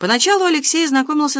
поначалу алексей знакомился